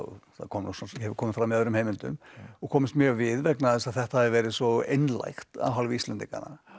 það hefur komið fram í öðrum heimildum og komist mjög við vegna þess að þetta hafi verið svo einlægt af hálfu Íslendinganna